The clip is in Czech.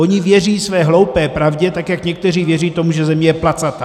Oni věří své hloupé pravdě tak, jak někteří věří tomu, že Země je placatá.